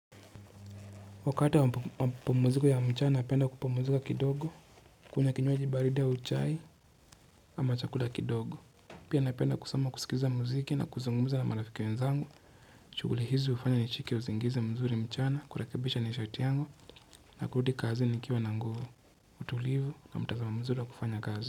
Wakati wa mapumuziko ya mchana napenda kupumuzika kidogo kunywa kinywaji baridi au chai, ama chakula kidogo. Pia napenda kusoma, kusikiza muziki na kuzungumuza na marafiki wenzangu shughuli hizi hufanya nishike uzingizi mzuri mchana, kurekebisha nishati yangu na kurudi kazi nikiwa na nguvu, utulivu na mtazamo mzuri wa kufanya kazi.